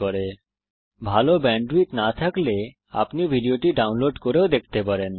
যদি আপনার কাছে ভালো ব্যান্ডউইডথ না থাকে তাহলে আপনি এটা ডাউনলোড করেও দেখতে পারেন